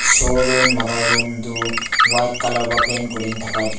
showroom laka room tu white colour pra paint kurani thaka.